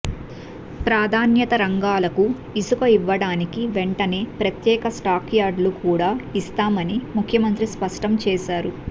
ప్రాధాన్యతా రంగాలకు ఇసుక ఇవ్వడానికి వెంటనే ప్రత్యేక స్టాక్యార్డులు కూడా ఇస్తామని ముఖ్యమంత్రి స్పష్టం చేసారు